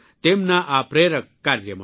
તેમના આ પ્રેરક કાર્ય માટે